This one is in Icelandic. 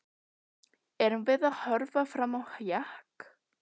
Erum við að horfa fram á hjakk?